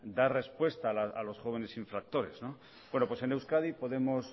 dar respuestas a los jóvenes infractores bueno pues en euskadi podemos